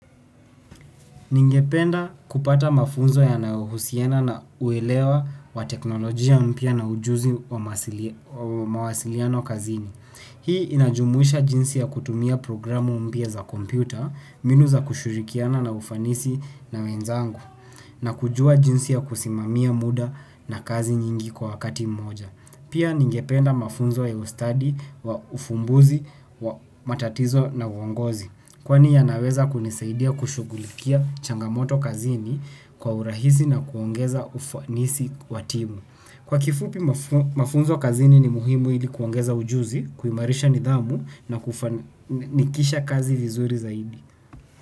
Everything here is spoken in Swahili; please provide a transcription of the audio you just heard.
Ningependa kupata mafunzo yanayohusiana na uelewa wa teknolojia mpya na ujuzi wa mawasiliano kazini. Hii inajumuisha jinsi ya kutumia programu mpya za kompyuta, minu za kushirikiana na ufanisi na wenzangu, na kujua jinsi ya kusimamia muda na kazi nyingi kwa wakati mmoja. Pia ningependa mafunzo ya ustadi wa ufumbuzi wa matatizo na uongozi. Kwani yanaweza kunisaidia kushugulikia changamoto kazini kwa urahisi na kuongeza ufanisi wa timu. Kwa kifupi mafunzo kazini ni muhimu ili kuongeza ujuzi, kuimarisha nidhamu na kufanikisha kazi vizuri zaidi.